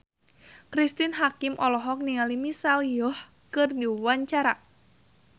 Cristine Hakim olohok ningali Michelle Yeoh keur diwawancara